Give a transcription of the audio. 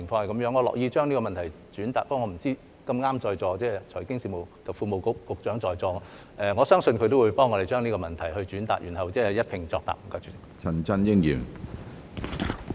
我樂意將這個問題轉達，但我不知道......碰巧財經事務及庫務局局長在座，我相信他也會幫我們將這個問題轉達，然後一併作答。